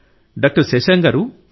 doctor Shashank గారూ